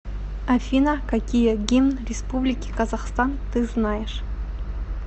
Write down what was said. афина какие гимн республики казахстан ты знаешь